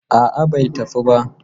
A'a bai tafi ba.